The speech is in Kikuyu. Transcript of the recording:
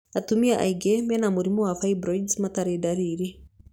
Atumia aingĩ mena mũrimũ wa fibroids matirĩ ndariri.